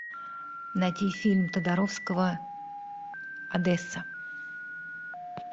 найти фильм тодоровского одесса